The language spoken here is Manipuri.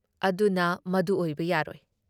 ꯑꯗꯨꯨꯅ ꯃꯗꯨ ꯑꯣꯏꯕ ꯌꯥꯔꯣꯏ ꯫"